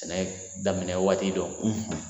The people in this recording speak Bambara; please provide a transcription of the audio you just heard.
Sɛnɛ daminɛ waati dɔ